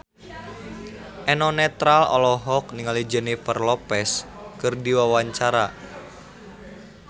Eno Netral olohok ningali Jennifer Lopez keur diwawancara